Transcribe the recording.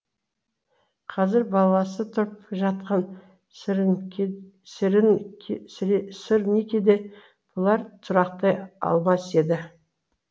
қазір баласы тұрып жатқан сырникиде бұлар тұрақтай алмас еді